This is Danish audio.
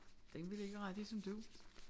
Den vil ikke ret ligesom du